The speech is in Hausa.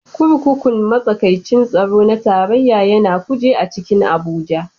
Kurkukun matsakaicin tsaro na tarayya ya na Kuje a cikin Abuja.